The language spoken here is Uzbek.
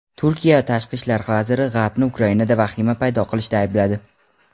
Turkiya tashqi ishlar vaziri G‘arbni Ukrainada vahima paydo qilishda aybladi.